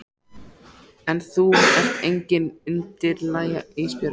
En þú ert engin undirlægja Ísbjörg.